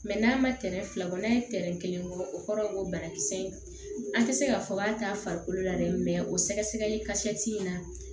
n'a ma tɛrɛn fila bɔ n'a ye tɛrɛn kelen bɔ o kɔrɔ ko banakisɛ in an tɛ se k'a fɔ k'a t'a farikolo la dɛ o sɛgɛsɛgɛli ka se tɛ in na